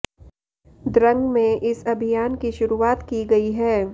द्रंग में इस अभियान की शुरुआत की गई है